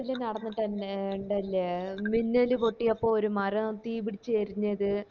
ട്ടില് നടന്നിട്ടെന്നെ ഇണ്ടല്ലേ മിന്നൽ പൊട്ടിയപ്പോ ഒരു മാറാം തീ പിടിച്ച് എരിഞ്ഞത്‌